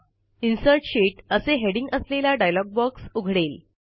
insert sheet असे heading असलेला dialog box उघडेल